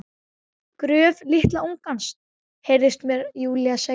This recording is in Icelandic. Gröf litla ungans, heyrist mér Júlía segja.